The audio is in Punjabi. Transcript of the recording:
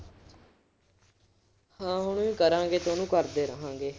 ਹਾਂ ਉਹਨੂੰ ਹੀ ਕਰਾਂਗੇ ਤੇ ਉਹਨੂੰ ਕਰਦੇ ਰਹਾਂਗੇ।